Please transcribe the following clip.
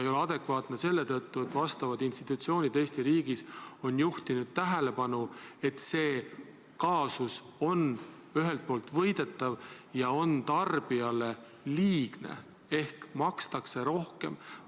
Ei ole adekvaatne seetõttu, et vastavad institutsioonid Eesti riigis on juhtinud tähelepanu, et see kaasus on ühelt poolt võidetav ja tarbijale liigne ehk makstakse rohkem.